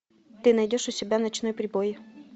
ты найдешь у себя ночной прибой